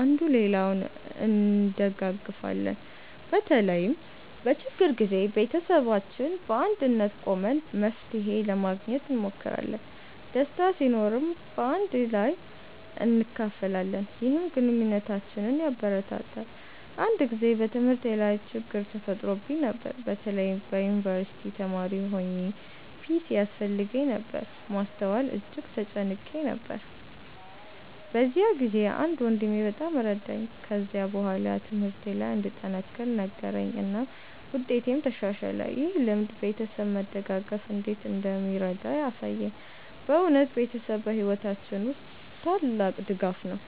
አንዱ ሌላውን እንደጋገፊለን። በተለይም በችግር ጊዜ ቤተሰባችን በአንድነት ቆመን መፍትሄ ለማግኘት እንሞክራለን። ደስታ ሲኖርም በአንድ ላይ እናካፍላለን፣ ይህም ግንኙነታችንን ያበረታታል። አንድ ጊዜ በትምህርቴ ላይ ችግኝ ተፈጥሮብኝ ነበር። በተለይ የዩንቨርሲቲ ተማሪ ሆኘ ፒሲ ያስፈልገኝ ነበር ማስተዋል እጅግ ተጨንቄ ነበር። በዚያ ጊዜ አንድ ወንድሜ በጣም ረዳኝ። ከዚያ በኋላ ትምህርቴ ለይ እንድጠነክር ነገረኝ እናም ውጤቴም ተሻሻለ። ይህ ልምድ ቤተሰብ መደጋገፍ እንዴት እንደሚረዳ አሳየኝ። በእውነት ቤተሰብ በሕይወታችን ውስጥ ታላቅ ድጋፍ ነው።